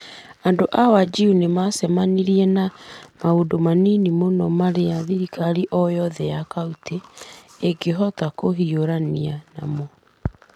Andũ a Wajir nĩ macemanirie na maũndũ manini mũno marĩa thirikari o yothe ya kauntĩ ĩngĩhota kũhiũrania namo.